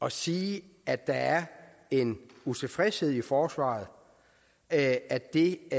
at sige at der er en utilfredshed i forsvaret og at at det